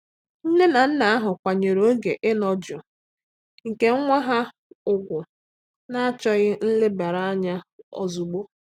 Nne na nna ahụ akwanyere oge inọ jụụ nke nwa ha ụgwụ n'achọghị nlebara anya ozụgbo.